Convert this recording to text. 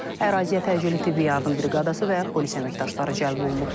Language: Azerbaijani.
Əraziyə təcili tibbi yardım briqadası və polis əməkdaşları cəlb olunub.